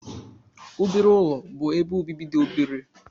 Obere ụlọ bụ ebe obibi dị obere.